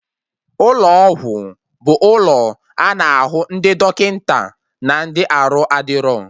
Ụlọ ọgwụ bụ ụlọ a na-ahụ ndị dọkịta na ndị arụ adịro